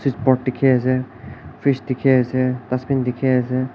dikhi ase fridge dikhi ase dustbin dikhi ase.